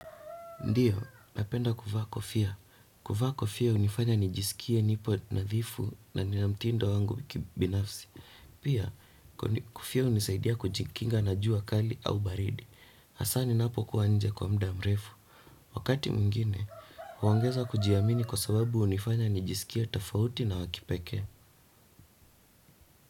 Ndiyo, napenda kuvaa kofia. Kuvaa kofia hunifanya nijisikie nipo nadhifu na nina mtindo wangu binafsi. Pia, kofia hunisaidia kujikinga na juu kali au baridi. Hasa ninapokuwa nje kwa muda mrefu. Wakati mwingine, huongeza kujiamini kwa sababu hunifanya nijisikie tofauti na wakipekee.